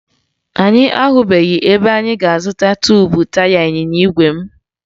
Anyị ahụghị ebe anyị ga-azụta tuubu taya ịnyịnya igwe m